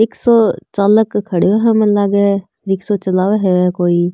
रिक्शा चालक खड़ो है मन लाग रिक्शों चलाव है कोई।